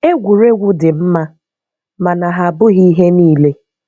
Egwuregwu dị mma, mana ha abụghị ihe niile.